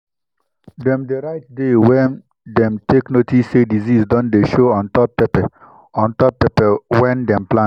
dem dey write day wen dem take notice say disease don dey show on top pepper on top pepper wehn dem plant.